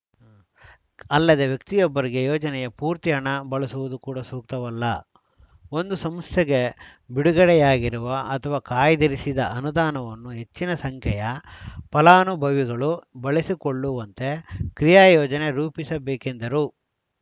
ಅಲ್ಲದೇ ವ್ಯಕ್ತಿಯೊಬ್ಬರಿಗೆ ಯೋಜನೆಯ ಪೂರ್ತಿಹಣ ಬಳಸುವುದು ಕೂಡ ಸೂಕ್ತವಲ್ಲ ಒಂದು ಸಂಸ್ಥೆಗೆ ಬಿಡುಗಡೆಯಾಗಿರುವ ಅಥವಾ ಕಾಯ್ದಿರಿಸಿದ ಅನುದಾನವನ್ನು ಹೆಚ್ಚಿನ ಸಂಖ್ಯೆಯ ಫಲಾನುಭವಿಗಳು ಬಳಸಿಕೊಳ್ಳುವಂತೆ ಕ್ರಿಯಾಯೋಜನೆ ರೂಪಿಸಬೇಕೆಂದರು